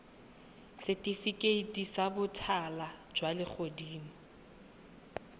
setifikeiti sa botala jwa legodimo